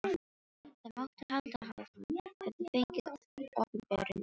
Það mátti halda að hann hefði fengið opinberun í draumi.